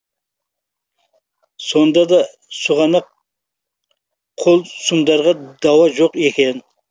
сонда да сұғанақ қол сұмдарға дауа жоқ екен